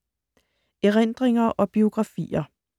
Erindringer og biografier